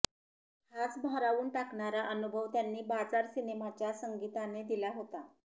हाच भारावून टाकणारा अनुभव त्यांनी बाजार सिनेमाच्या संगीताने दिला होता